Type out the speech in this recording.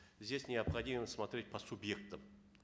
здесь необходимо смотреть по субъектам